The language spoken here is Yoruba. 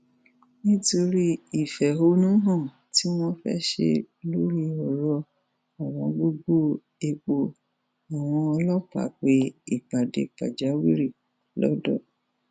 nítorí ìfẹhónú hàn tí wọn fẹẹ ṣe lórí ọrọ ọwọngógó epo àwọn ọlọpàá pe ìpàdé pàjáwìrì lọdọ